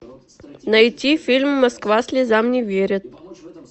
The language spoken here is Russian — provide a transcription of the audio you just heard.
найти фильм москва слезам не верит